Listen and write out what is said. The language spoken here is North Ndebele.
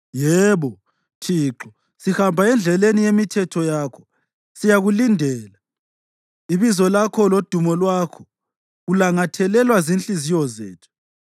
Yebo, Thixo, sihamba endleleni yemithetho yakho, siyakulindela; ibizo lakho lodumo lwakho kulangathelelwa zinhliziyo zethu.